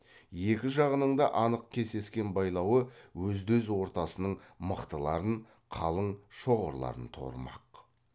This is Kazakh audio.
екі жағының да анық кесескен байлауы өзді өз ортасының мықтыларын қалың шоғырларын торымақ